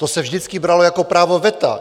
To se vždycky bralo jako právo veta.